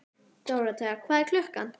Dóróthea, hvað er klukkan?